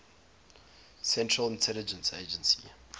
central intelligence agency